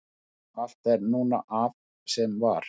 allt er núna af sem var